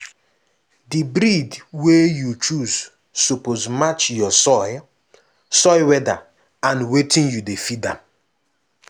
the breed wey you choose suppose match your soil soil weather and wetin you dey feed am.